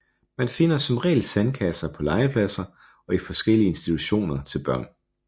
Man finder som regel sandkasser på legepladser og i forskellige institutioner til børn